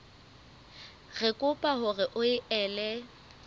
re kopa hore o ele